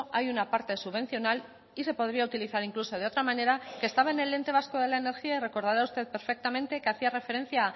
hay una parte subvencional y se podría utilizar incluso de otra manera que estaba en el ente vasco de la energía y recordará usted perfectamente que hacía referencia